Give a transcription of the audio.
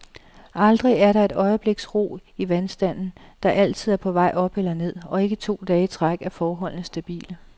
Aldrig er der et øjebliks ro i vandstanden, der altid er på vej op eller ned, og ikke to dage i træk er forholdene stabile.